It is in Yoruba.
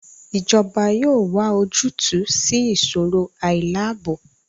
Ijọba yoo wa ojutu si iṣoro ailaabo